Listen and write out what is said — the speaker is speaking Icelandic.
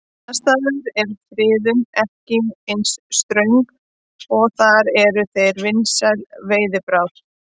Annars staðar er friðun ekki eins ströng og þar eru þeir vinsæl veiðibráð.